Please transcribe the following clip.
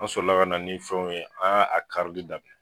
An solila ka na ni fɛnw ye, an y' an a karili daminɛ